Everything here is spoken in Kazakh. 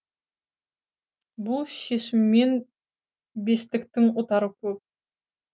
бұл шешімнен бестіктің ұтары көп